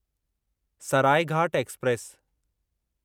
Saraighat express